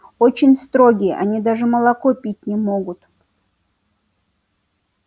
очень строгие они даже молоко пить не могут